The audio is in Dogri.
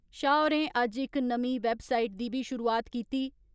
शाह होरें अज्ज इक नमीं वैब साईट दी बी शुरुआत कीती।